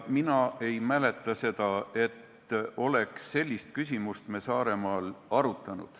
Mina ei mäleta seda, et me oleks sellist küsimust Saaremaal arutanud.